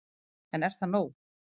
En er það nóg